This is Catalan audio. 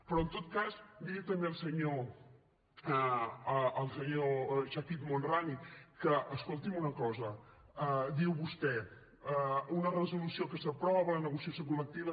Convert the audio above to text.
però en tot cas dir també al senyor chakir el homrani que escolti’m una cosa diu vostè una resolució que s’aprova la negociació col·lectiva